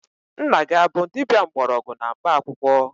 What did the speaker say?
Nna gị abụ dibia mgbọrọgwụ na mkpaakwụkwọ?